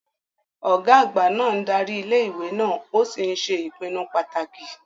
Ọ̀gá àgbà náà ń darí ilé ìwé náà ó sì ń ṣe ìpinnu pàtàkì